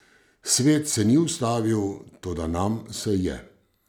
Svet se ni ustavil, toda nam se je.